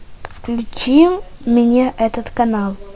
включи мне этот канал